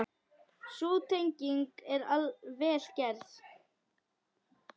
Sú tenging er vel gerð.